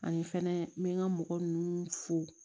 Ani fɛnɛ n bɛ n ka mɔgɔ ninnu fo